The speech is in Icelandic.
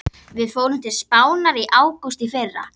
Við fórum til Spánar í ágúst í fyrra.